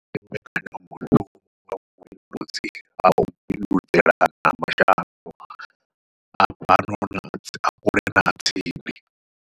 Ndi mbekanyamushumo wa vhubindudzi hau vhubindudzelana ha fhano ha kule na ha tsini.